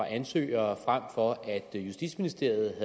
ansøgere frem for at justitsministeriet af